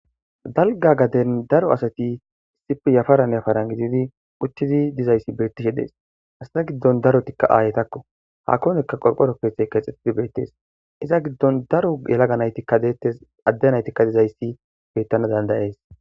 Dalga gaden daro asati issipfe yafarane faran gididi uchidi dizayssi beettishe dees hasata giddon darotikka aayetakko hakonekka qolqo ropkeethey keexxetidi beyttees iza giddon daro yelagaaytdetes addenaytikka dizayssi bettana dandayees.